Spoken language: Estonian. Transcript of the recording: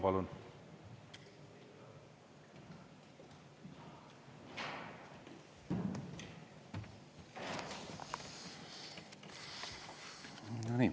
Palun!